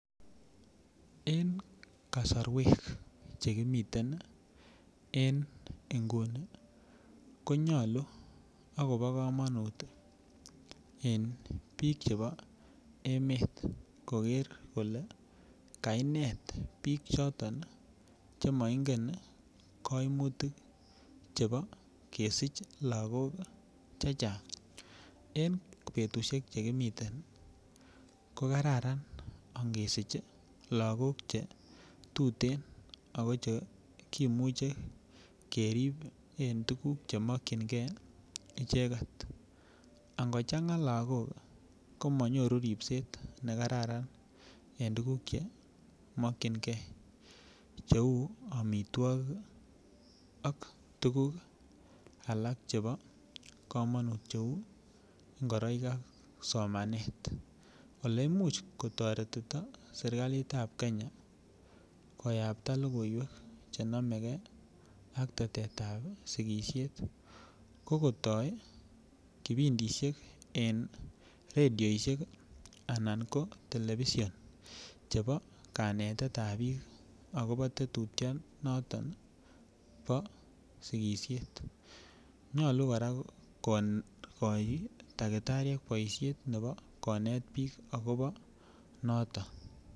En kasarwek chekimiten en inguni konyalu ak kobokamanut en biik chebo emet koger kole kainet biik choton che maingen kaimutik chebo kesich lagok chechang. En betusiek chekimiten ko kararan ingesich lagok chetuten ago chekimuche kerip en tuguk che mokyinge icheget. Angochanga lagok ko manyoru ripset nekararan en tuguk che mokyinge cheu amitwogik ak tuguk alak chebo kamanut cheu ngoroik ak somanet. Oleimuch kotoretito sergalitab Kenya koyapta logoiywek chenomege ak tetetab sigisiet ko kotoi kipindisiek en rediosiek anan ko telepision chebo kaneteab biik agobo tetutionoto bo sigisiet. Nyalu kora kokai takitariek boisiet nebo konet biik agobo noto.